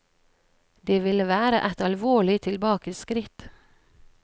Det ville være et alvorlig tilbakeskritt.